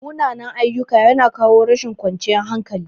Munanan-ayyuka yana kawo rashin ƙwanciyan hankali.